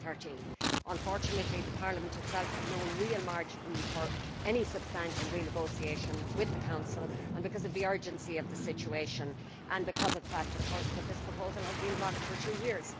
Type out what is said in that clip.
2013. Unfortunately Parliament itself had no real margin for any substantial renegotiation with the Council, because of the urgency of the situation and because of the fact, of course, that this proposal has been blocked for two years.